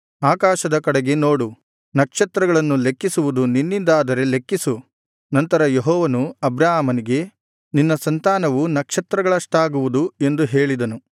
ಆಕಾಶದ ಕಡೆಗೆ ನೋಡು ನಕ್ಷತ್ರಗಳನ್ನು ಲೆಕ್ಕಿಸುವುದು ನಿನ್ನಿಂದಾದರೆ ಲೆಕ್ಕಿಸು ನಂತರ ಯೆಹೋವನು ಅಬ್ರಾಮನಿಗೆ ನಿನ್ನ ಸಂತಾನವು ನಕ್ಷತ್ರಗಳಷ್ಟಾಗುವುದು ಎಂದು ಹೇಳಿದನು